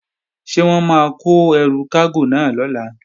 Ṣé wọ́n máa kó ẹrù kágò náà lọ̀la?